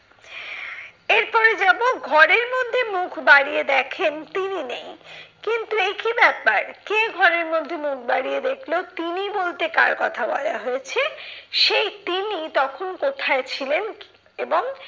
এরপরে যাবো ঘরের মধ্যে মুখ বাড়িয়ে দেখেন তিনি নেই। কিন্তু এই কি ব্যাপার? কে ঘরের মধ্যে মুখ বাড়িয়ে দেখলো? তিনি বলতে কার কথা বলা হয়েছে? সেই তিনি তখন কোথায় ছিলেন? এবং